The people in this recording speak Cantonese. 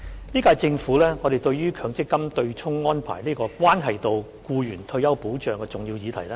本屆政府十分重視強制性公積金的對沖安排，這個關係到僱員的退休保障的重要議題。